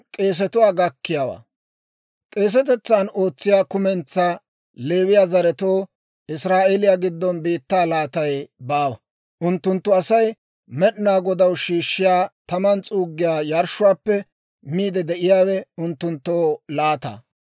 «K'eesetetsan ootsiyaa kumentsaa Leewiyaa zaretoo Israa'eeliyaa giddon biittaa laatay baawa. Unttunttu Asay Med'inaa Godaw shiishshiyaa taman s'uuggiyaa yarshshuwaappe miidde de'iyaawe unttunttoo laata.